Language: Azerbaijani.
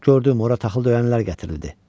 Gördün, ora taxıl döyənlər gətirildi.